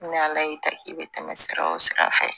Ni ala y'i ta k'i bɛ tɛmɛ sira o sira fɛ